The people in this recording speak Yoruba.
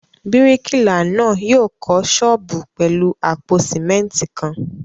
Bíríkìlà náà yóò kọ́ ṣọ́ọ́bù pẹ̀lú àpò sìmẹ́ńtì kan.